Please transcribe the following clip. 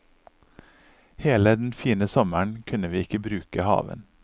Hele den fine sommeren kunne vi ikke bruke haven.